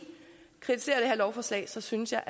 kritiserer det her lovforslag så synes jeg